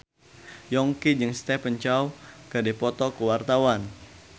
Yongki jeung Stephen Chow keur dipoto ku wartawan